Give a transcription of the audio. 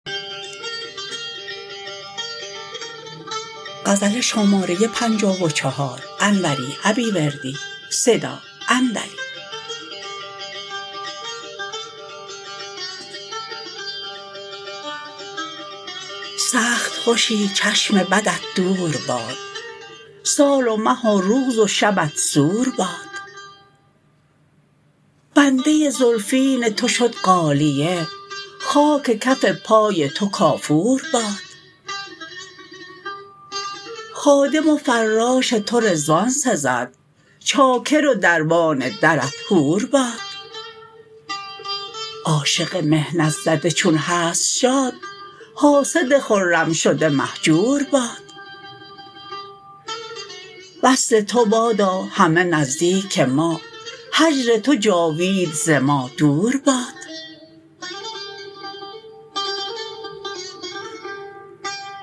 سخت خوشی چشم بدت دورباد سال و مه و روز و شبت سور باد بنده زلفین تو شد غالیه خاک کف پای تو کافور باد خادم و فراش تو رضوان سزد چاکر و دربان درت حور باد عاشق محنت زده چون هست شاد حاسد خرم شده مهجور باد وصل تو بادا همه نزدیک ما هجر تو جاوید ز ما دور باد